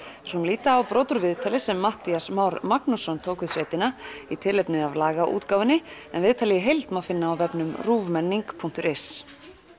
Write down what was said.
skulum líta á brot úr viðtali sem Matthías Már Magnússon tók við sveitina í tilefni af en viðtalið í heild má finna á vefnum ruvmenning punktur is